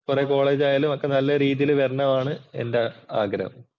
College ആയാലും ഒക്കെ നല്ല രീതിയിൽ വരണമെന്നാണ് എന്‍റെ ആഗ്രഹം.